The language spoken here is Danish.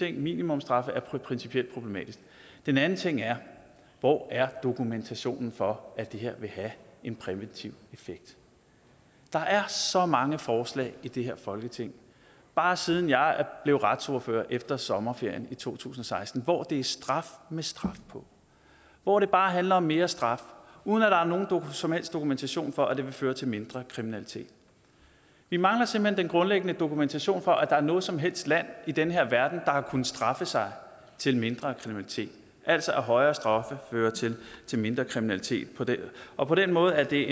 at minimumsstraffe principielt er problematiske den anden ting er hvor er dokumentationen for at det her vil have en præventiv effekt der er så mange forslag i det her folketing bare siden jeg blev retsordfører efter sommerferien i to tusind og seksten hvor det er straf med straf på hvor det bare handler om mere straf uden at der er nogen som helst dokumentation for at det vil føre til mindre kriminalitet vi mangler simpelt hen den grundlæggende dokumentation for at der er noget som helst land i den her verden der har kunnet straffe sig til mindre kriminalitet altså at højere straffe fører til mindre kriminalitet og på den måde er det